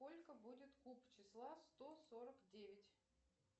сколько будет куб числа сто сорок девять